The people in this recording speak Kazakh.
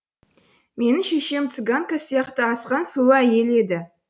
менің шешем цыганка сияқты асқан сұлу әйел еді